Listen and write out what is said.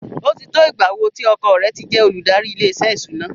Ó ti tó ìgbà wo tí ọkọ rẹ̀ ti jẹ́ olùdarí ilé-iṣẹ́ ìṣúná?